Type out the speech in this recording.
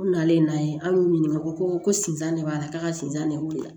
Ko nalen n'a ye an y'u ɲininka o ko ko sinzan de b'a la k'a ka sifan de weele